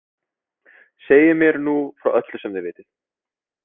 Segið mér nú frá öllu sem þið vitið.